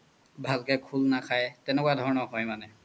ভালকে খুল নাখাই তেনেকুৱা ধনৰ হয় মানে